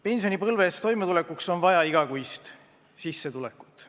Pensionipõlves toimetulekuks on vaja igakuist sissetulekut.